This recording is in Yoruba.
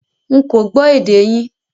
Nkọ́ gbò èdè yín